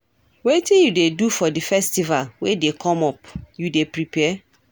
Wetin you dey do for di festival wey dey come up, you dey prepare?